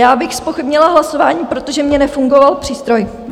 Já bych zpochybnila hlasování, protože mně nefungoval přístroj.